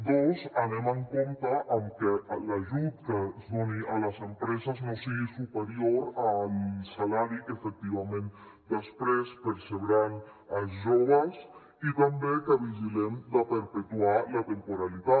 dos anem amb compte amb que l’ajut que es doni a les empreses no sigui superior al salari que efectivament després percebran els joves i també que vigilem de perpetuar la temporalitat